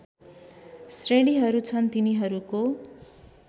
श्रेणीहरू छन् तिनीहरूको